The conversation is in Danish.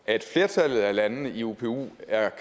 at flertallet af landene i upu er